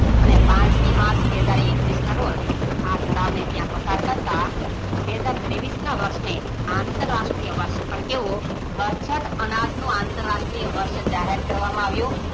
અને પાંચમી માર્ચ બે હાજર એકવીસના રોજ આ ઠરાવને ત્યાં પસાર કરતા બે હાજર ત્રેવીસના વર્ષને અતરાષ્ટ્રીય વર્ષ પણ કેવો બરછટ અનાજનું અતરાષ્ટ્રીય વર્ષ જાહેર કરવામાં આવ્યું